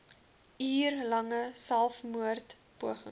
uur lange selfmoordpoging